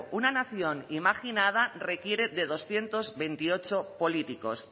una nación imaginada requiere de doscientos veintiocho políticos